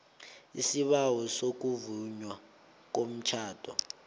isibawo sokuvunywa komtjhado